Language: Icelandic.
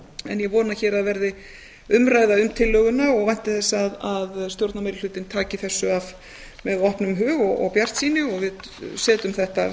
en ég vona hér að það verði umræða um tillöguna og vænti þess að stjórnarmeirihlutinn taki þessu með opnum hug og bjartsýni og við setjum þetta